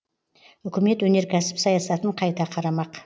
үкімет өнеркәсіп саясатын қайта қарамақ